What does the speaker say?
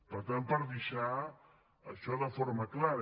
per tant per deixar això de forma clara